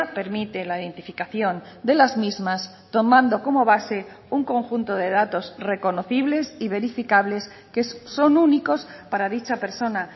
permite la identificación de las mismas tomando como base un conjunto de datos reconocibles y verificables que son únicos para dicha persona